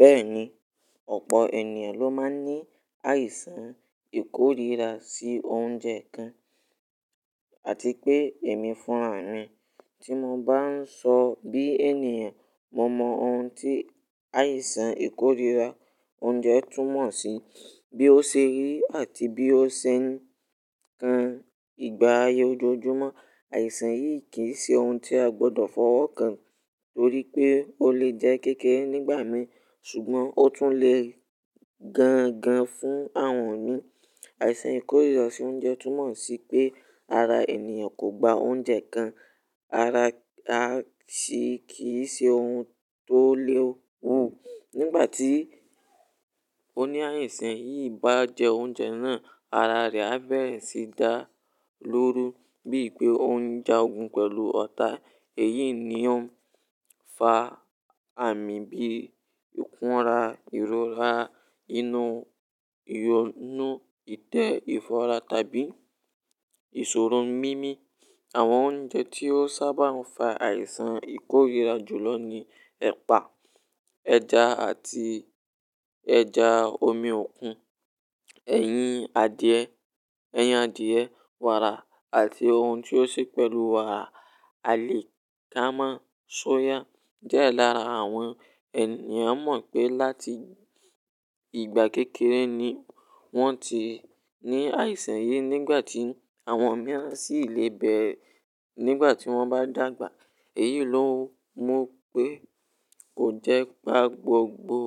Bẹ́ẹ̀ni, ọ̀pọ̀ ènìyàn ló máa ń ní àìsàn ìkóríra sí oúnjẹ kan àti pé èmi fúnra mi tí mo bá ń sọ bí ènìyàn, mo mọ ohun tí àìsàn ìkóríra oúnjẹ túmọ̀ sí, bí ó ṣe rí àti bí ó ṣe ń kan ìgbà ayé ojoojúmọ́. Àìsàn yìí kì í ṣe ohun tí a gbọdọ̀ fọwọ́ kàn torí pé ó lè jẹ́ kékeré nígbà mìí ṣùgbọ́n ó tún lè gan gan fún àwọn mìí. Àìsàn ìkóríra sí oúnjẹ túmọ̀ sí pé ara ènìyàn kò gba oúnjẹ kan. Ara a ṣì kì í ṣe ohun tó lè wu. Nígbà tí oní àìsàn yìí bá jẹ oúnjẹ náà, ara rẹ̀ á bẹ̀rẹ̀ sí dá lóru bíi pé ó ń jágun pẹ̀lú ọ̀tá. Èyí ni ó ń fa àmì bíi ìkunra, ìrora inú, ìyọnu, ìtẹ́, ìfọra tàbí ìṣòro mimi. Àwọn oúnjẹ tí ó sábà ń fa àìsàn ìkóríra jù lọ ni ẹ̀pà, ẹja àti ẹja omi òkun, ẹ̀yìn adìẹ, ẹyin adìẹ, wàrà àti ohun tí ó ṣe pẹ̀lú wàrà. Àlìkámà, soya jẹ́ ẹlẹ́ran àwọn ènìyàn mọ̀ pé láti ìgbà kékeré ni wọ́n ti ní àìsàn yìí nígbà tí àwọn mìíràn sì le bẹ̀rẹ̀ nígbà tí wọ́n bá dàgbà. Èyí ló mú pé kò jẹ́ pa gbogbo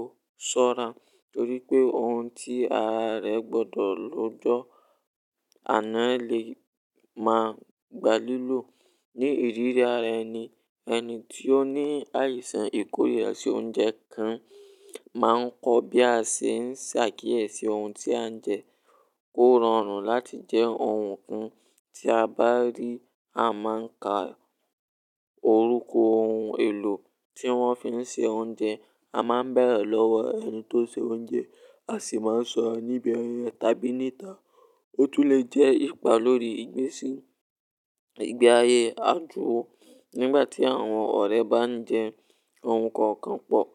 ṣọ́ra torí pé ohun tí ara rẹ gbọdọ̀ lo jọ àná lè máa gba lílò. Ni ìríra rẹ̀ ni ẹni tí ó ní àìsàn ìkóríra sí oúnjẹ kan máa ń kọ́ bí a ṣe ń ṣàkíyèsí ohun tí à ń jẹ kó rọrùn láti jẹ ohun kan. Tí a bá rí a máa ń ka orúkọ ohun èlò tí wọ́n fi ń ṣe oúnjẹ. A máa ń bẹ̀rẹ̀ lọ́wọ́ ẹni tó ṣe oúnjẹ, a sì máa ń sọ ọ́ níbi ẹyin tàbí níta. Ó tún lè jẹ́ ipa lórí ìgbésí ìgbe ayé àdúró nígbà tí àwọn ọ̀rẹ́ bá ń jẹ ohun kan kan pọ̀.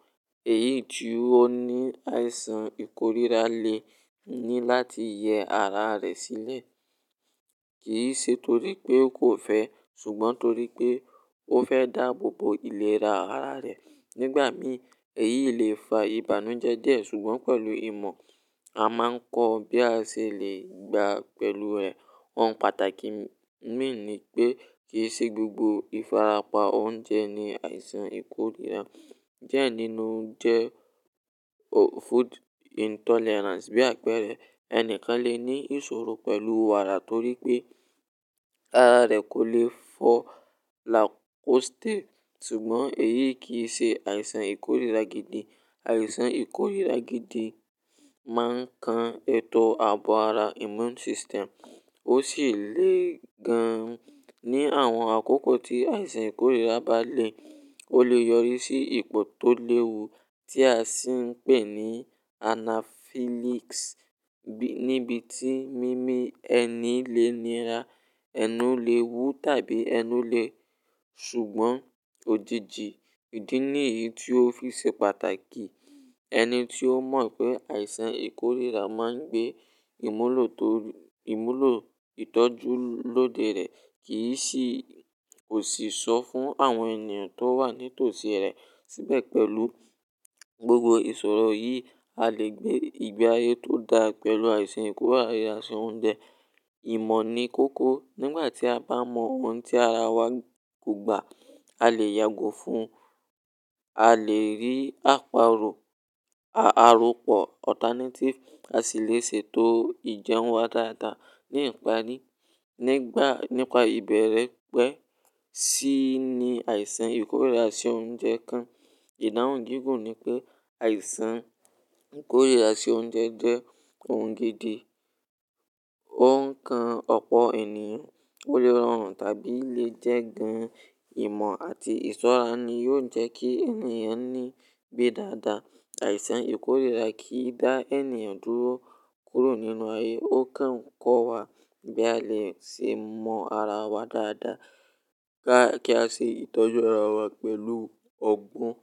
Èyí tí ó ní àìsàn ìkóríra lè ní láti yẹ ara rẹ̀ sílẹ̀ kì í ṣe torí pé ó kò fẹ́ ṣùgbọ́n torí pé ó fẹ́ dáàbò bo ìlera ara rẹ̀. Nígbà mí, èyí lè fa ìbànújẹ́ díẹ̀ ṣùgbọ́n pẹ̀lú ìmọ̀, a máa ń kọ́ bí a ṣe lè gbà á pẹ̀lú ẹ̀. Ohun pàtàkì mí ní pé kì í ṣe gbogbo ìfarapa oúnjẹ ni àìsàn ìkóríra. Diẹ nínú jẹ́ food intolerance bí àpẹẹrẹ. Ẹni kan lè ní ìṣòro pẹ̀lú wàrà torí pé ara rẹ̀ kò lè fọ́ lactose ṣùgbọ́n èyí kì í ṣe àìsàn ìkóríra gidi. Àìsàn ìkóríra gidi máa ń kan ètò ààbò ara immune system ó sì le gan ní àwọn àkókò tí àìsàn ìkóríra bá le. Ó lè yọrí sí ìpọ̀ tó léwu tí a sì ń pè ní anaphylaxis níbi tí mimi ẹni lè nira, ẹnu lè wu tàbí ẹnu lè-- ṣùgbọ́n òjiji ìdí nìyí tí ó fi ṣe pàtàkì. Ẹni tí ó mọ̀ pé àìsàn ìkóríra máa ń gbé ìmúlò tọ-- ìmúlò ìtọ́jú lóde rẹ̀ kì í sì, kò sì sọ fún àwọn ènìyàn tó wà ní tòsí rẹ̀. Síbẹ̀ pẹ̀lú gbogbo ìṣòro yìí, a lè gbé ìgbà ayé tó dá pẹ̀lú àìsàn ìkóríra sí oúnjẹ. Ìmọ̀ ni kóko. Nígbà tí a bá mọ ohun tí ara wa kò gba, a lè yàgò fún un. A lè rí àparò, àropọ̀ alternative a sì lè ṣe ètò ìjẹun wa dáadáa. Ní ìparí, nígbà, nípa ìbẹ̀rẹ̀ pẹ́ ṣí ní àìsàn ìkóríra sí oúnjẹ kan, ìdáhùn jíjù ni pé àìsàn ìkóríra sí oúnjẹ jẹ́ ohun gidi. Ó ń kan ọ̀pọ̀ ènìyàn, ó lè rọrùn tàbí lè jẹ́ gan. Ìmọ̀ àti ìṣọ́ra ni yóò jẹ́ kí ènìyàn níbí dáadáa. Àìsàn ìkóríra kì í dá ènìyàn dúró kúrò nínú ayé. Ó kàn ń kọ́ wa bí a lè ṣe mọ ara wa dáadáa kí a ṣe ìtọ́jú ara wa pẹ̀lú ọgbọ́n.